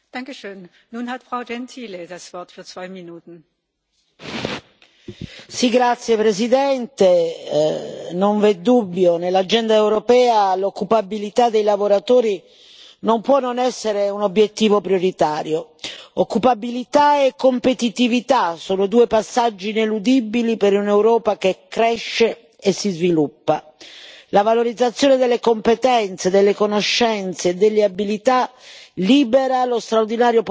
Signora Presidente, onorevoli colleghi, non vi è dubbio, nell'agenda europea l'occupabilità dei lavoratori non può non essere un obiettivo prioritario. Occupabilità e competitività sono due passaggi ineludibili per un'Europa che cresce e si sviluppa. La valorizzazione delle competenze, delle conoscenze e delle abilità libera lo straordinario potenziale del nostro capitale umano.